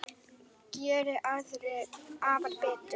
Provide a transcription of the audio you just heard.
Geri aðrir afar betur.